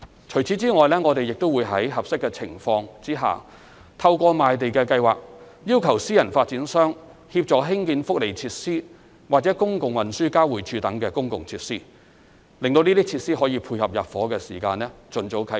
除此以外，我們會在合適的情況下，透過賣地計劃要求私人發展商協助興建福利設施或公共運輸交匯處等公共設施，使這些設施可以配合入伙時間盡早啟用。